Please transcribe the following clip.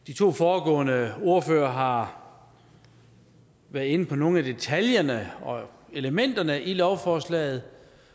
de to foregående ordførere har været inde på nogle af detaljerne og elementerne i lovforslaget og